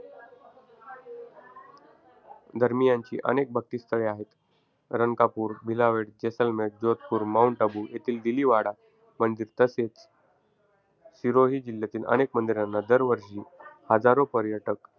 धर्मीयांची अनेक भक्तिस्थळे आहेत. रणकापूर, भिलवाडा, जेसलमेर, जोधपूर, माउंट अबू येथील दिलिवाडा मंदिर तसेच, सिरोही जिल्ह्यातील अनेक मंदिरांना दरवर्षी हजारो पार्यटक,